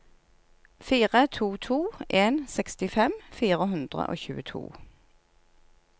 fire to to en sekstifem fire hundre og tjueto